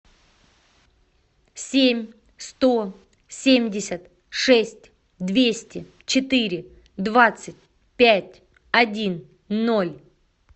семь сто семьдесят шесть двести четыре двадцать пять один ноль